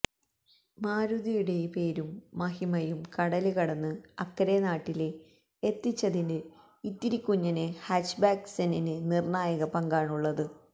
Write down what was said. മാരുതിയുടെ പേരും മഹിമയും കടല് കടന്ന് അക്കരെ നാട്ടില് എത്തിച്ചതില് ഇത്തിരി കുഞ്ഞന് ഹാച്ച്ബാക്ക് സെന്നിന് നിര്ണായക പങ്കാണുള്ളത്